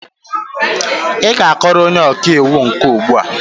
Ị ga-akọrọ onye ọka iwu nke a ugbu a!